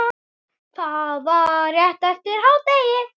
Það var rétt eftir hádegi.